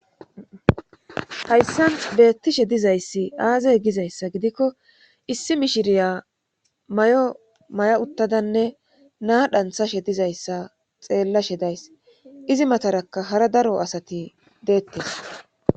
Hayssan ta beettishe dizayssi aazey gizayssa gidikko issi mishiriya may7o may7a uttadanne naa dhanthashe dizayssa xeellashe days izi matarakka hara daro asati deettes.